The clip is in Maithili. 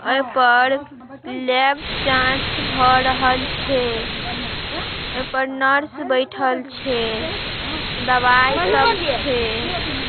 ऐपर लैब जांच भ रहल छे। ओईपर नर्स बैठल छे दवाई सब छे।